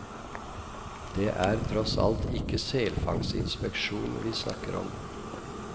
Det er tross alt ikke selfangstinspeksjon vi snakker om.